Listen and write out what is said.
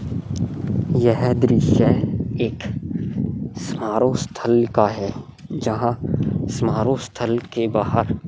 यह दृश्य एक समारोह स्थल का है जहां समारोह स्थल के बाहर --